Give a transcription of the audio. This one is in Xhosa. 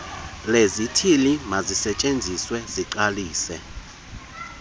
lezithili mazisetyenziswe ziqalise